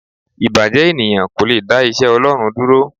Ìbàjẹ́ ènìyàn kò le dá iṣẹ́ Ọlọ́run dúró.